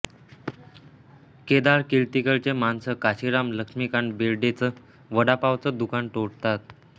केदार किर्तीकर चे माणसं काशिराम लक्ष्मीकांत बेर्डे च वडापावच दुकान तोडतात